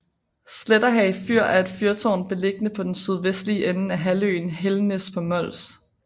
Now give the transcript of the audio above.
Sletterhage Fyr er et fyrtårn beliggende på den sydvestlige ende af halvøen Helgenæs på Mols